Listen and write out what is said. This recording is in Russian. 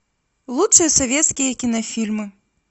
лучшие советские кинофильмы